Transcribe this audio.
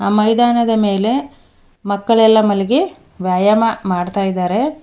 ಮೈದಾನದ ಮೇಲೆ ಮಕ್ಕಳೆಲ್ಲ ಮಲಗಿ ವ್ಯಾಯಾಮ ಮಾಡ್ತಾ ಇದ್ದಾರೆ.